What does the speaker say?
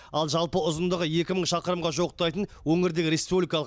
ал жалпы ұзындығы екі мың шақырымға жуықтайтын өңірдегі республикалық